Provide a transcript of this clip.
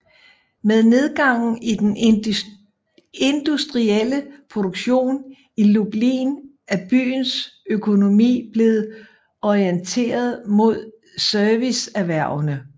Med nedgangen i den industrielle produktion i Lublin er byens økonomi blevet orienteret mod serviceerhvervene